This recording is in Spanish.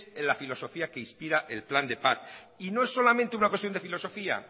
la filosofía que inspira el plan de paz y no es solamente una cuestión de filosofía